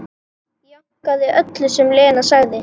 Jánkaði öllu sem Lena sagði.